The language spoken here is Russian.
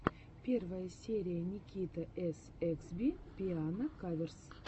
первая серия никитаэсэксби пиано каверс